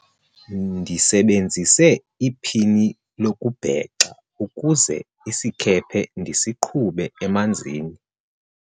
ndisebenzise iphini lokubhexa ukuze isikhephe ndisiqhube emanzini